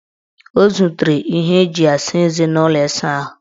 O zutere ihe eji asa eze n' ụlọ ịsaahụ.